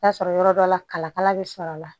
Taa sɔrɔ yɔrɔ dɔ la kalakala bɛ sɔrɔ a la